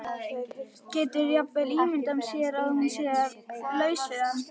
Getur jafnvel ímyndað sér að hún sé laus við hann.